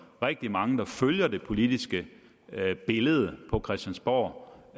rigtig mange der følger det politiske billede på christiansborg